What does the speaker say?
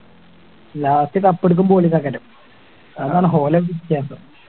last cup എടുക്കുമ്പോ അതാണ് ഓലെ വിത്യാസം